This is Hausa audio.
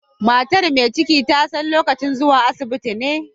Matar mai ciki ta san lokacin zuwa asibiti ne.